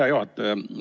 Hea juhataja!